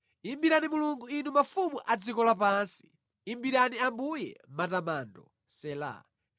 Imbirani Mulungu Inu mafumu a dziko lapansi imbirani Ambuye matamando. Sela